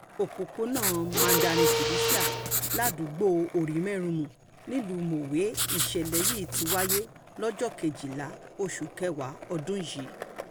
ojúlé keje òpópónà mandarin felicia ládùúgbò orímẹ́rùnmù nílùú mọ̀wé nìṣẹ̀lẹ̀ yìí ti wáyé lọ́jọ́ kejìlá oṣù kẹwàá ọdún yìí